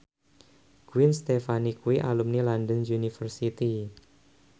Gwen Stefani kuwi alumni London University